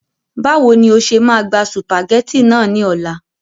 Báwo ni o ṣe máa gba sùpàgẹ́tì náà ní ọ̀la